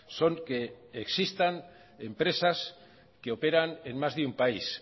son que existan empresas que operan en más de un país